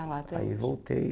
Aí voltei.